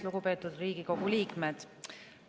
Lugupeetud Riigikogu liikmed!